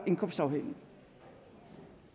indkomstafhængig